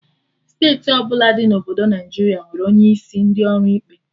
Steeti ọbụla dị na obodo Naijiria nwere onye isi ndị ọrụ ikpe